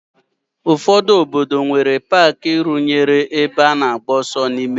Ụfọdụ obodo nwere paaki rụnyere ebe a na-agba ọsọ n'ime ya.